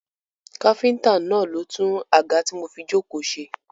Káfíntà náà ló ń tún àga tí mo fi jókòó ṣe.